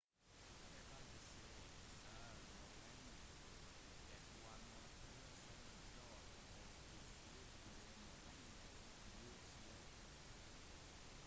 de kalte seg selv morioriene det var noen få sammenstøt og til slutt ble morioriene utslettet